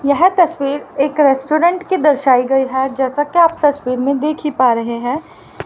यह तस्वीर एक रेस्टोरेंट की दर्शाई गई है जैसा कि आप तस्वीर में देखी पा रहे हैं।